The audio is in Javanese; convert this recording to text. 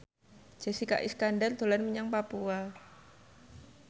Jessica Iskandar dolan menyang Papua